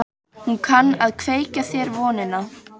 Hún kann að kveikja þér vonina.